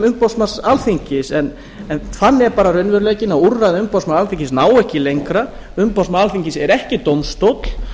umboðsmanns alþingis en þannig er bara raunveruleikinn og úrræði umboðsmanns alþingis ná ekki lengra umboðsmaður alþingis er ekki dómstóll